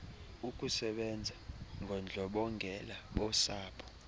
ukusebanza ngondlobongela bosapho